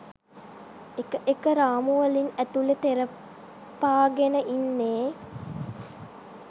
එක එක රාමු වලින් ඇතුලේ තෙරපාගෙන ඉන්නේ.